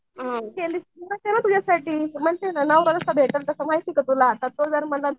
नवरा कसला भेटलं आता माहिती का तुला